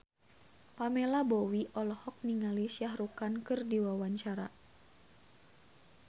Pamela Bowie olohok ningali Shah Rukh Khan keur diwawancara